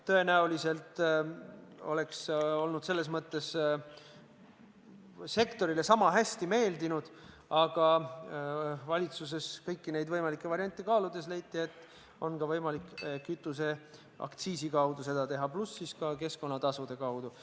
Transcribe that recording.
Tõenäoliselt oleks see selles mõttes sektorile sama hästi meeldinud, aga valitsuses kõiki neid võimalikke variante kaaludes leiti, et on ka võimalik kütuseaktsiisi kaudu toetada, pluss keskkonnatasude kaudu.